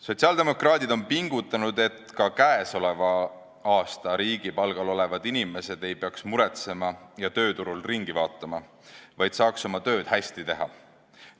Sotsiaaldemokraadid on pingutanud, et ka käesoleval aastal riigi palgal olevad inimesed ei peaks muretsema ja tööturul ringi vaatama, vaid saaks oma tööd hästi teha.